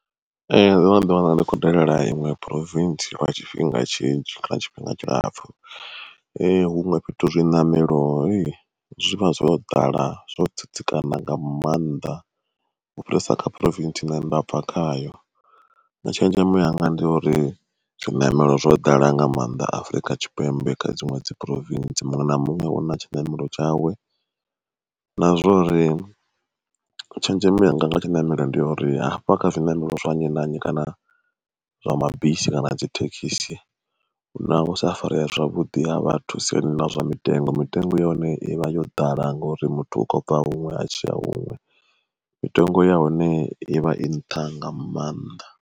Ee ndo no ḓi wana ndi kho dalela iṅwe Province lwa tshifhinga tshinzhi kana tshifhinga tshilapfu. Huṅwe fhethu zwiṋamelo zwivha zwo ḓala zwo tsitsikana nga maanḓa, u fhirisa kha Province ine nṋe ndabva khayo, tshenzhemo yanga ndi ya uri zwiṋamelo zwo ḓala nga maanḓa Afrika Tshipembe kha dziṅwe dzi Province muṅwe na muṅwe una tshiṋamelo tshawe. Na zwori tshenzhemo yanga nga tshiṋamelo ndi ya uri hafha kha zwiṋamelo zwa nnyi na nnyi kana zwa mabisi kana nadzi thekhisi hu na u sa farea zwavhuḓi ha vhathu siani ḽa zwa mitengo mitengo ya hone ivha yo ḓala ngauri muthu u khou bva huṅwe a tshiya huṅwe mitengo ya hone ivha i nṱha nga maanḓa.